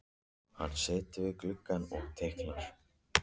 Hann situr við gluggann og teiknar.